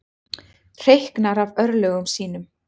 Hreyknar af örlögum sínum.